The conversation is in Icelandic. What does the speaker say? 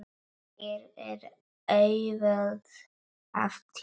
Hér er auðvelt að týnast.